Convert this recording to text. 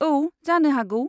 औ, जानो हागौ।